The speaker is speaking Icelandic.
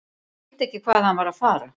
Ég skildi ekki hvað hann var að fara.